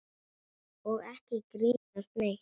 Og ekki grínast neitt!